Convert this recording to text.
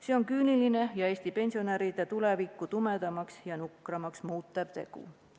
See on küüniline ja Eesti pensionäride tulevikku tumedamaks ja nukramaks muutev tegu.